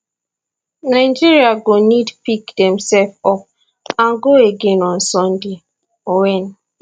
nigeria go need pick demsef up and go again on sunday wen